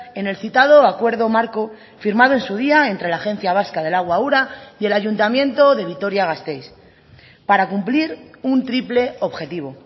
en el citado acuerdo marco firmado en su día entre la agencia vasca del agua ura y el ayuntamiento de vitoria gasteiz para cumplir un triple objetivo